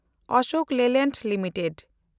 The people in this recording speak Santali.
Ashok Leyland limited